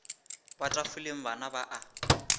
wa tafoleng bana ba a